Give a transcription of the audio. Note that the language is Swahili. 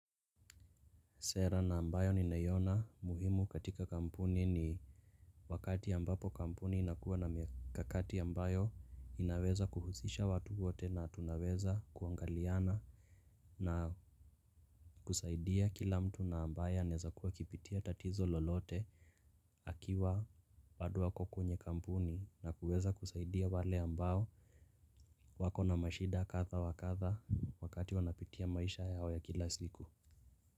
Sera na ambayo ninaiona muhimu katika kampuni ni wakati ambapo kampuni inakuwa na mikakati ambayo inaweza kuhusisha watu wote na tunaweza kuangaliana na kusaidia kila mtu na ambayo anaeza kuwa akipitia tatizo lolote akiwa bado ako kwenye kampuni na kuweza kusaidia wale ambao wako na mashida kadha wa kadha wakati wanapitia maisha yao ya kila siku.